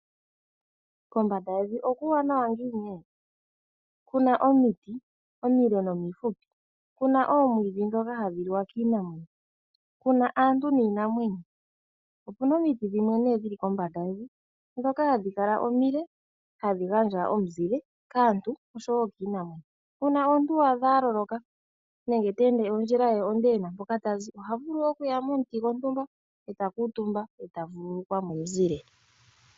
Kombanda yevi okuuwanawa ngiini! okuna omiti omile nomifupi, okuna oomwiidhi ndhoka hadhi liwa kiinamwenyo , okuna aantu niinamwenyo. Okuna omiti dhimwe dhili kombanda yevi ndhoka hadhi kala omile hadhi gandja omuzile kaantu oshowoo kiinamwenyo . Uuna omuntu waadha aloloka nenge teende ondjila ye onde ena mpoka tazi, ohavulu okuya momuti gwontumba eta kuutumba eta vululukwa momuzile.